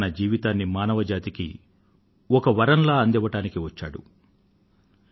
తన జీవితాన్ని మానవజాతికి ఒక వరంలా అందివ్వడానికి వచ్చాడు అని దీని భావం